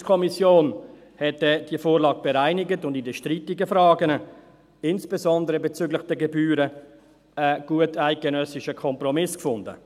Die JuKo hat diese Vorlage bereinigt und in den strittigen Fragen, insbesondere bezüglich der Gebühren, einen guteidgenössischen Kompromiss gefunden.